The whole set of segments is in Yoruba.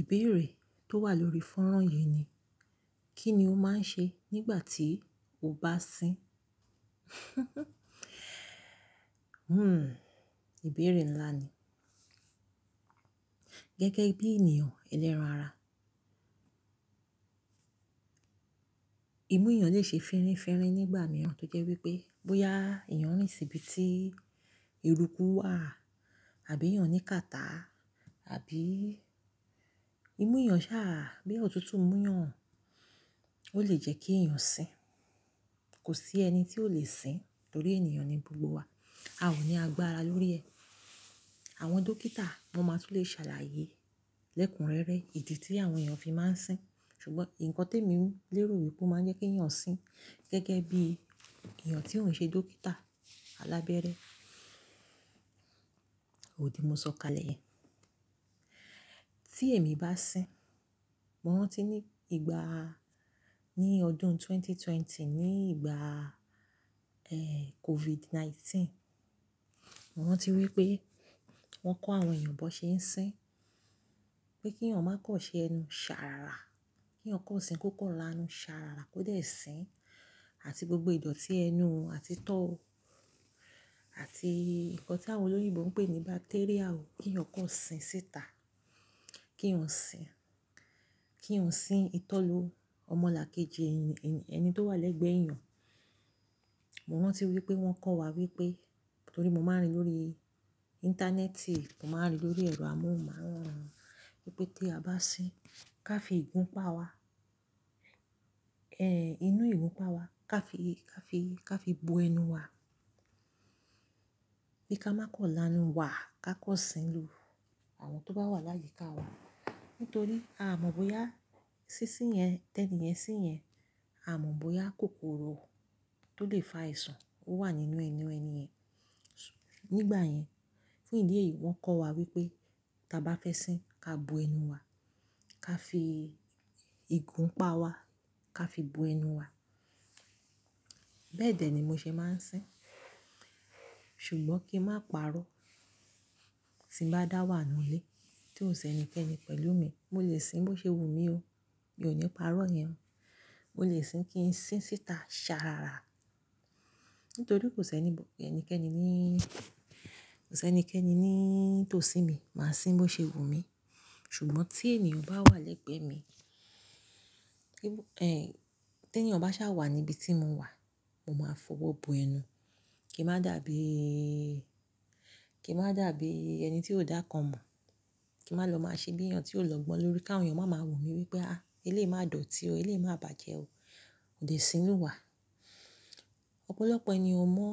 Ìbéèrè tó wà lórí fọ́nrán yìí ni, kí ni ó máa ń ṣe nígbà tí o bá sín? Ìbéèrè ńlá ni. Gẹ́gẹ́ bí ènìyàn ẹlẹ́ran ara, imú èèyàn lè ṣe firinfirin nígbà mìíràn tó jẹ́ wípé bóyá èèyàn rìn sí bi tí eruku wà àbí èèyàn ní kàtá àbí imú èèyàn sáà, bóyá ọ̀tútù mú yàn, ó lè jẹ́ kí ìyàn sín. Kò sí ẹni tí ò lè sín torí ènìyàn ni gbogbo wa, a ò ní agbára lórí ẹ. Àwọn dókítà wọn máa tún lè ṣàlàyé lẹ́kùn rẹ́rẹ́ ìdí tí àwọn èèyàn fi máa ń sín. Ṣùgbọ́n nǹkan tí èmi lè rò wípé ó máa ń jẹ́ kí èèyàn sín gẹ́gẹ́ bí èèyàn tí ò ń ṣe dókítà alábẹ́rẹ́, òdi mo sọ kalẹ̀ yẹn. Tí èmi bá sín, mo rántí ní ìgbà ní ọdún 2020, ní ìgbà, COVID-19, mo rántí wípé wón kò àwon èèyàn bó se ń sin, pé kí èèyàn má kò sè enú sára ra, ki èèyàn kò sin kò kó là nù sára ra kò dé sin, àti gbogbo idoti enú ó àti itò ó àti nǹkan tí àwọn olóyìnbo ń pè ní bacteria ò, kí èèyàn kọ́ sín síta. Kí èèyàn sín, kí èèyàn sín ìtọ́ lu ọmọlàkejì ẹni tó wà lẹ́gbẹ̀ẹ́ èèyàn. Mo rántí wípé wọ́n kọ́ wa wípé, torí mo máa ń rí lórí Íńtánẹ́ẹ̀tì, mo máa ń rí lórí ẹ̀rọ amóhùnmáwòrán wípé tí a bá sín, ká fi ìgun pa wa, inú ìgun pa wa ká fi, ká fi, ká fi bo ẹnu wa. Pé ká má kọ̀ láanu wa ká kọ́ sín lu àwọn tó bá wà láyíká wa. Nítorí a mọ̀ bóyá sínsín yẹn, tẹ́ńì yẹn, sín yẹn, a mọ̀ bóyá kòkòrò tó lè fa àìsàn ó wà nínú ẹnu ẹni yẹn. Nígbà yẹn, fún ìdí èyí wọ́n kọ́ wa wípé tí a bá fẹ́ sín, ká bo ẹnu wa, ká fi ìgun pa wa, ká fi bo ẹnu wa. Bẹ́ẹ̀ dẹ́ ni mo ṣe máa ń sín. Ṣùgbọ́n kí n má parọ́ tí m bá dá wà nú lé tí ò ṣẹni kẹ́ni pẹ̀lú mi, mo lè sín bó ṣe wù mí o. Mi ò ní parọ́ iyẹn. Mo lè sín kí n sín síta ṣàràrá. Nítorí kò ṣẹni kẹ́ni ní, kò ṣẹni kẹ́ni ní tó sí mi. Máa sín bó ṣe wù mí. Ṣùgbọ́n tí ènìyàn bá wà lẹ́gbẹ̀ẹ́ mi, tí ènìyàn bá ṣà wà níbi tí mo wà, mo máa fọwọ́ bo ẹnu kí n má dàbí, kí n má dàbí ẹni tí ò dákan mọ̀, kí n má lọ máa ṣe bí ènìyàn tí ó lọ́gbọ́n lórí ká wón èèyàn máa ma wó mí wípé, "Ah! Eléyìí má dọ̀tí ó, eléyìí má bàjẹ́ o. Ó dè sínú wà." Ọ̀pọ̀lọpọ̀ ènìyàn ó mọ̀,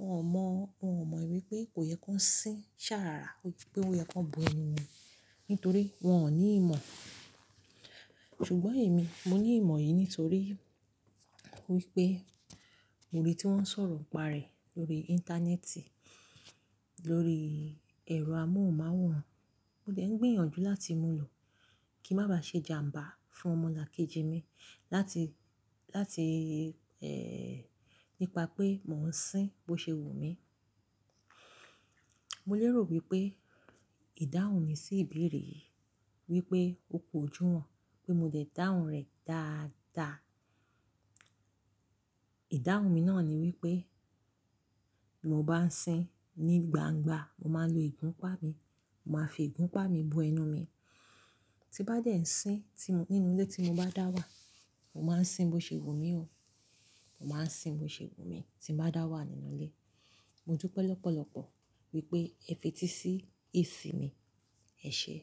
wọ́n ò mọ̀, wọ́n ò mọ wipé kò yẹ kó sín ṣàràrá wípé ó yẹ kó bo ẹnu won, nítorí wọ́n ò ní ìmọ̀. Ṣùgbọ́n èmi, mo ní ìmọ̀ yìí nítorí wípé mo rí tí wọ́n ń sọ̀rọ̀ pà rẹ̀ lórí Íńtánẹ́ẹ̀tì, lórí ẹ̀rọ amóhùnmáwòrán. Mo dé ń gbìyànjú láti mú ló kí ń máa bá se jàmbá fún omo lakeji mi láti nípà pé mó ń sin bó se wù mí. Mo lè rò wípé ìdáhùn mi sí ìbéèrè yìí wípé ó pọ̀jù wọ́n, pé mo dẹ̀ dáhùn rẹ̀ dáadáa. Ìdáhùn mi náà ni wípé bí mo bá ń sín ní gbangba, mo máa ń lo ìgun pa mi. Mo máa fi ìgun pa mi bo ẹnu mi. Tí bá dé ń sín nínú ilé tí mo bá dá wà, mo máa ń sín bó ṣe wù mí o. Mo máa ń sín bó ṣe wù mí tí m bá dá wà nínú ilé. Mo dúpẹ́ lọ́pọ̀lọpọ̀ wípé ẹ fetí sí èsì mi. Ẹ ṣé.